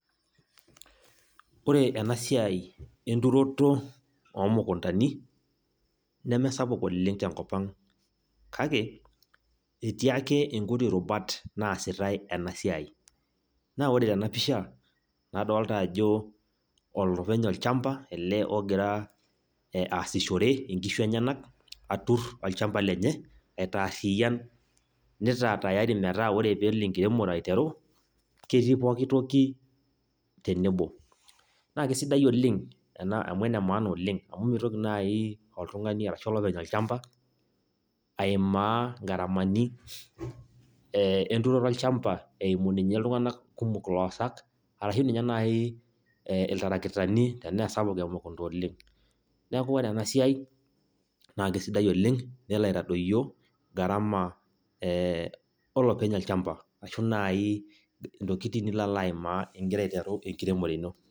Ore enasiai enturoto omukundani, nemesapuk oleng' tenkop ang'. Kake, etii ake inkuti rubat naasitai enasiai. Na ore tenapisha, nadolta ajo olopeny olchamba ogira asishore inkishu enyanak, atur olchamba lenye, nitaarriyian, nitaa tayari metaa ore pelo enkiremore aiteru, ketii pooki toki tenebo. Na kesidai oleng',ena amu enemaana oleng, amu mitoki nai oltung'ani ashu olopeny olchamba, aimaa garamani enturoto olchamba, eimu ninche iltung'anak kumok iloosak, ashu ninye nai iltarakitani tenaa sapuk emukunda oleng'. Neeku ore enasiai, na kesidai oleng nelo aitadoyio gharama olopeny olchamba, ashu nai intokiting nilo alaimaa igira aiteru enkiremore ino.